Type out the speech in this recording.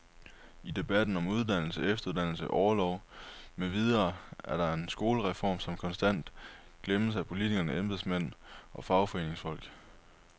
I debatten om uddannelse, efteruddannelse, orlov med videre er der en skoleform, som konstant glemmes af politikere, embedsmænd og fagforeningsfolk.